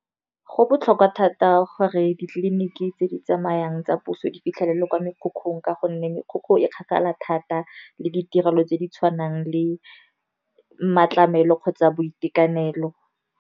Go botlhokwa thata gore ditleliniki tse di tsamayang tsa puso, di fitlhelele kwa mekhukhung ka gonne go kgakala thata. Le ditirelo tse di tshwanang le matlamelo kgotsa boitekanelo.